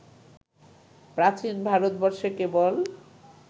প্রাচীন ভারতবর্ষে কেবল